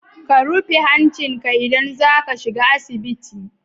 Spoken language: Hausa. Ka rufe hancinka idan za ka shiga asibiti.